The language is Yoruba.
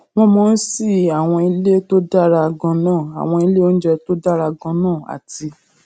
wón mò ón sí àwọn ilé tó dára ganan àwọn ilé oúnjẹ tó dára ganan àti